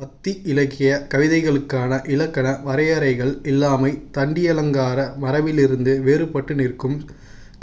பக்தி இலக்கியக் கவிதைகளுக்கான இலக்கண வரையறைகள் இல்லாமை தண்டியலங்கார மரபிலிருந்து வேறுபட்டு நிற்கும்